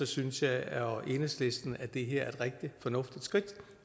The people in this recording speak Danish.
synes jeg og enhedslisten at det her er et rigtig fornuftigt skridt